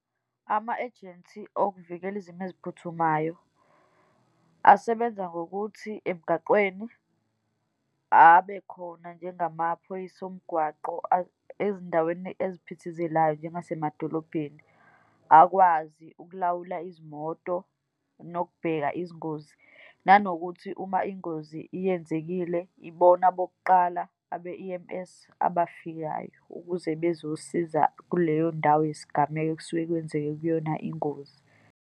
Ama-agency okuvikela izimo eziphuthumayo, asebenza ngokuthi emgaqweni abekhona, njengamaphoyisa omgwaqo ezindaweni eziphithizelayo, njengazesemadolobheni, akwazi ukulawula izimoto, nokubheka izingozi. Nanokuthi uma ingozi iyenzekile, ibona bokuqala abe-E_M_S abafikayo, ukuze bezosiza kuleyondawo yesigameko, ekusuke kwenzeke kuyona ingozi.